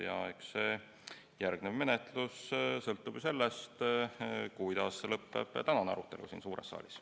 Ja eks järgnev menetlus sõltub sellest, kuidas lõpeb tänane arutelu siin suures saalis.